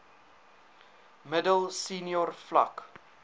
middel senior vlak